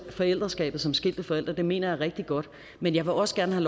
forældreskabet som skilte forældre det mener jeg er rigtig godt men jeg vil også gerne